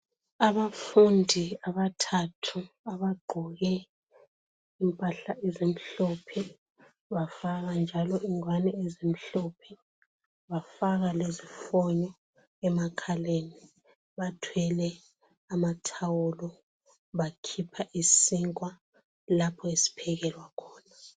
Abafundi abathathu abagqoke impahla ezimhlophe, bafaka njalo ingwane ezimhlophe, bafaka lezifoni emakhaleni, bathwele amathawulo, bakhipha isinkwa lapho esiphekelwa khona.